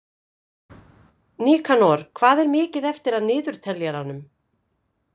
Nikanor, hvað er mikið eftir af niðurteljaranum?